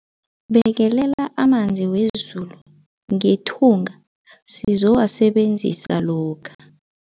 Bekelela amanzi wezulu ngethunga sizowasebenzisa lokha.